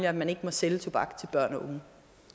at man ikke må sælge tobak til børn og unge